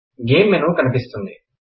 game menu కనిపిస్తుంది